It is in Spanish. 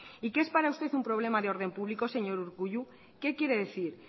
y qué es para usted un problema de orden público señor urkullu qué quiere decir